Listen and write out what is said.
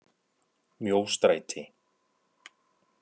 Mjóstræti